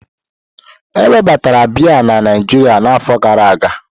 Ewebatara bịyà na Naijiria na afọ gara aga.